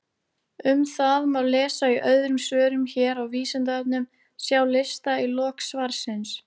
Um það má lesa í öðrum svörum hér á Vísindavefnum, sjá lista í lok svarsins.